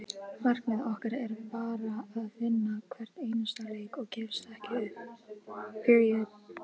Markmið okkar er bara að vinna hvern einasta leik og gefast ekki upp.